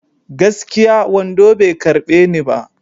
Gaskiya, wando bai karɓe ni ba.